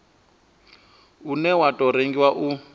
une wa tou rengiwa u